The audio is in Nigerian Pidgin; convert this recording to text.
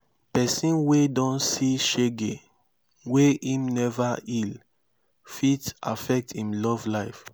pesin wey don see shege wey im neva heal fit affect im love life